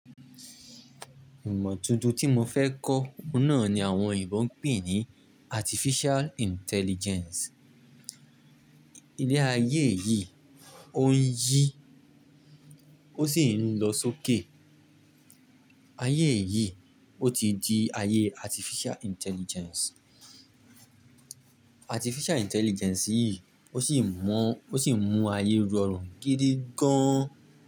Ìmọ̀ tuntun tí mo fẹ́ kọ́ ohun náà ni àwọn oyinbo n pè ní Artificial Intelligence. Ile ayé yí, ó ń yí, ó sì ń lọ sókè. Ayé yíi, ó ti di ayé Artificial Intelligence. Artificial Intelligence yìí, ó sì ń mú ayé rọrùn gidi gan.